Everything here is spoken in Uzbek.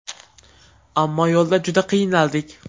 Ammo yo‘lda juda qiynaldik”.